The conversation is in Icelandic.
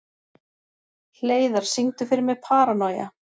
Hleiðar, syngdu fyrir mig „Paranoia“.